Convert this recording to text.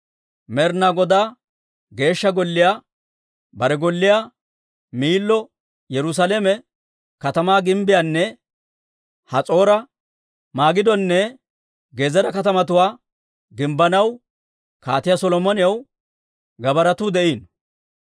Med'inaa Godaa Geeshsha Golliyaa, bare golliyaa, Miillo, Yerusaalame katamaa gimbbiyaanne Has'oora, Magidonne Gezeera katamatuwaa gimbbanaw Kaatiyaa Solomonaw gabbaaratuu de'iino.